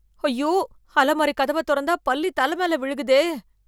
ஐயோ ! அலமாரி கதவ தொறந்தா பள்ளி தலை மேல விழுகுதே